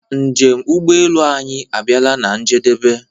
Njem ụgbọ elu anyi abiala na-njedebe.